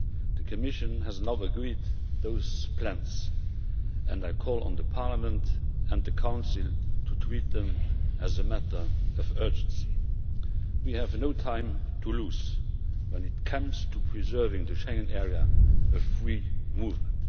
The Commission has now agreed those plans, and I call on Parliament and the Council to treat them as a matter of urgency. We have no time to lose when it comes to preserving the Schengen area of free movement.